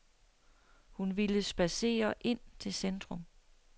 Hun ville spadsere ind til centrum.